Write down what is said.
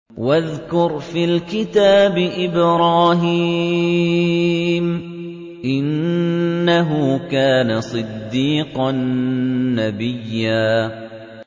وَاذْكُرْ فِي الْكِتَابِ إِبْرَاهِيمَ ۚ إِنَّهُ كَانَ صِدِّيقًا نَّبِيًّا